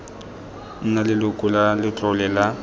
nna leloko la letlole la